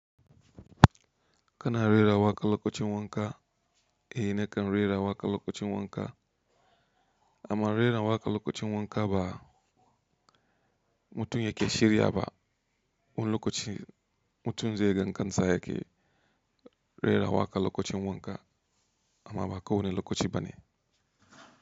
Kana rera waƙa lokacin wanka? Eh, nakan rera waƙa lokacin wanka. Amma rera waƙa lokacin wanka ba mutum yake shirya ba. Wun lokaci mutum zai gan kansa yake rera waƙa lokacin wanka amma ba kowani lokaci bane.